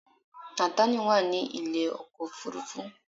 Nátànì wà ní ilé ọkọ̀ òfurufú